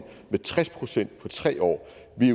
med tres procent på tre år